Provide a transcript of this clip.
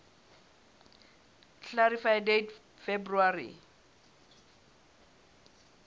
clarify date february